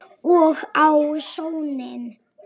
Og á soninn.